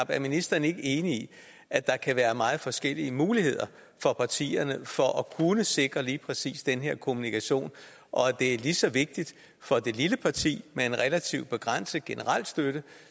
er ministeren ikke enig i at der kan være meget forskellige muligheder for partierne for at kunne sikre lige præcis den her kommunikation og at det er lige så vigtigt for det lille parti med en relativt begrænset generel støtte